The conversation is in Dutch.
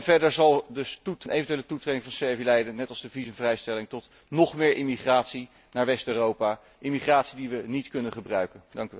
Verder zal een eventuele toetreding van Servië leiden, net als de visumvrijstelling, tot nog meer emigratie naar West Europa, emigratie die we niet kunnen gebruiken.